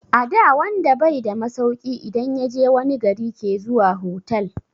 Ada wanda bai da masauki idan yaje wani gari ke zuwa hotal